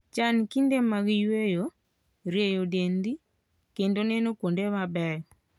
Chan kinde mag yueyo, rieyo dendi, kendo neno kuonde mabeyo.